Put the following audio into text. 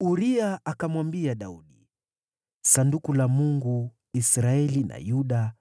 Uria akamwambia Daudi, “Sanduku la Mungu, na Israeli na Yuda